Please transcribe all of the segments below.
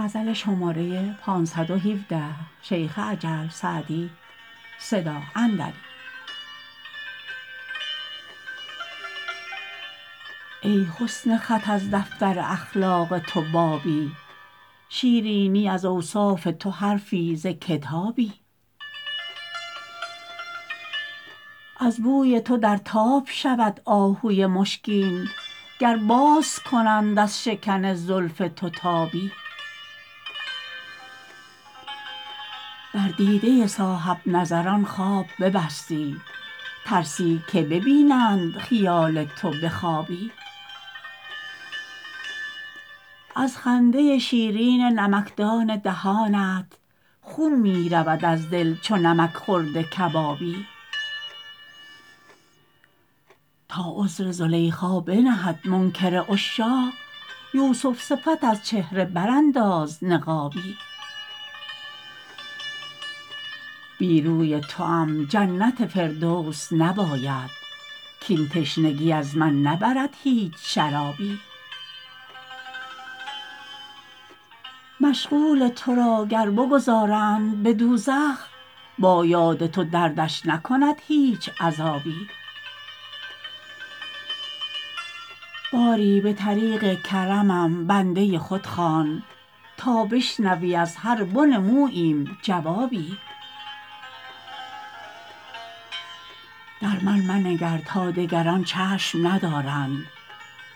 ای حسن خط از دفتر اخلاق تو بابی شیرینی از اوصاف تو حرفی ز کتابی از بوی تو در تاب شود آهوی مشکین گر باز کنند از شکن زلف تو تابی بر دیده صاحب نظران خواب ببستی ترسی که ببینند خیال تو به خوابی از خنده شیرین نمکدان دهانت خون می رود از دل چو نمک خورده کبابی تا عذر زلیخا بنهد منکر عشاق یوسف صفت از چهره برانداز نقابی بی روی توام جنت فردوس نباید کاین تشنگی از من نبرد هیچ شرابی مشغول تو را گر بگذارند به دوزخ با یاد تو دردش نکند هیچ عذابی باری به طریق کرمم بنده خود خوان تا بشنوی از هر بن موییم جوابی در من منگر تا دگران چشم ندارند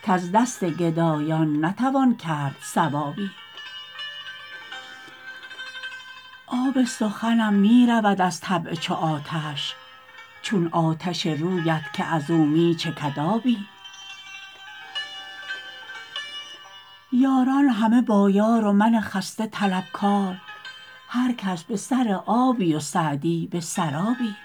کز دست گدایان نتوان کرد ثوابی آب سخنم می رود از طبع چو آتش چون آتش رویت که از او می چکد آبی یاران همه با یار و من خسته طلبکار هر کس به سر آبی و سعدی به سرابی